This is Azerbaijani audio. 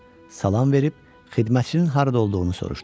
Salam verib xidmətçinin harda olduğunu soruşdu.